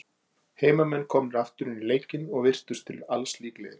Heimamenn komnir aftur inn í leikinn, og virtust til alls líklegir.